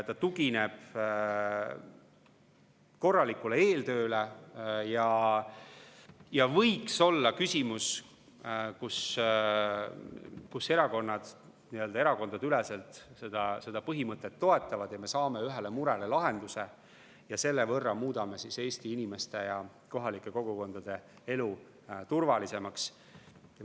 Ta tugineb korralikule eeltööle ja see võiks olla küsimus, kus erakonnad erakondadeüleselt seda põhimõtet toetavad ja me saame ühele murele lahenduse, muutes Eesti inimeste ja kohalike kogukondade elu turvalisemaks.